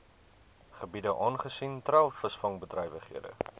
gebiede aangesien treilvisvangbedrywighede